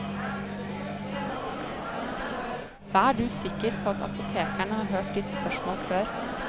Vær du sikker på at apotekeren har hørt ditt spørsmål før.